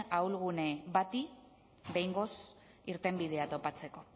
ahulgune bati behingoz irtenbidea topatzeko